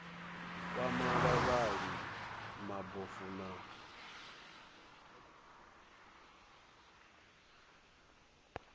kwama vhavhali vha mabofu na